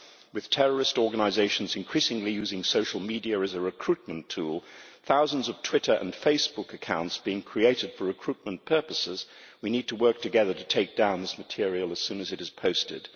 With terrorist organisations increasingly using social media as a recruitment tool, and thousands of Twitter and Facebook accounts being created for recruitment purposes, we need to work together to take down this material as soon as it is posted.